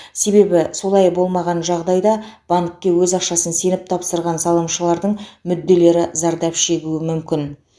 себебі олай болмаған жағдайда банкке өз ақшасын сеніп тапсырған салымшылардың мүдделері зардап шегуі мүмкін